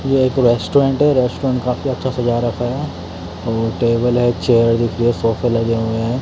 यह एक रेस्टोरेंट है रेस्टोरेंट काफी अच्छा सजा रखा है और टेबल है चेयर दिख रही है ये सोफे लगे हुए हैं।